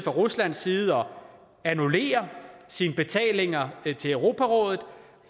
ruslands side om at annullere sine betalinger til europarådet